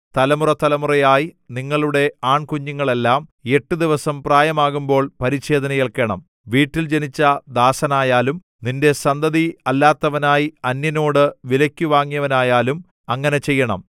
തലമുറതലമുറയായി നിങ്ങളുടെ ആൺകുഞ്ഞുങ്ങളെല്ലാം എട്ടുദിവസം പ്രായമാകുമ്പോൾ പരിച്ഛേദന ഏൽക്കേണം വീട്ടിൽ ജനിച്ച ദാസനായാലും നിന്റെ സന്തതിയല്ലാത്തവനായി അന്യനോട് വിലയ്ക്കു വാങ്ങിയവനായാലും അങ്ങനെ ചെയ്യണം